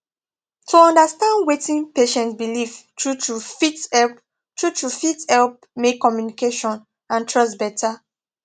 to understand wetin patient believe truetrue fit help truetrue fit help make communication and trust better